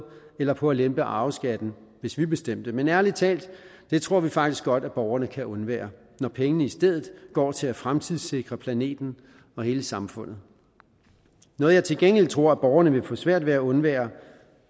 eller på at lempe arveskatten hvis vi bestemte men ærlig talt det tror vi faktisk godt at borgerne kan undvære når pengene i stedet går til at fremtidssikre planeten og hele samfundet noget jeg til gengæld tror borgerne vil få svært ved at undvære